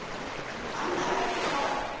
Annar er próf.